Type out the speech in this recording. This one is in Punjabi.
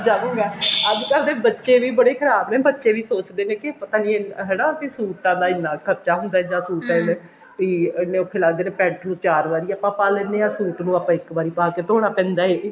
ਅੱਜਕਲ ਦੇ ਬੱਚੇ ਵੀ ਬੜੇ ਖ਼ਰਾਬ ਨੇ ਬੱਚੇ ਵੀ ਸੋਚਦੇ ਨੇ ਕਿ ਪਤਾ ਨੀ ਹਨਾ ਕਿ ਸੂਟਾਂ ਦਾ ਇੰਨਾ ਖਰਚਾ ਹੁੰਦਾ ਜਾਂ suit ਐਵੇਂ ਵੀ ਇੰਨੇ ਔਖੇ ਲੱਗਦੇ ਨੇ pent ਨੂੰ ਚਾਰ ਵਾਰੀ ਆਪਾਂ ਪਾ ਲੈਨੇ ਹਾਂ suit ਨੂੰ ਆਪਾਂ ਨੂੰ ਇੱਕ ਵਾਰੀ ਪਾਕੇ ਧੋਣਾ ਪੈਂਦਾ ਹੈ